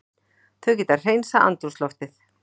Þau geta hreinsað andrúmsloftið.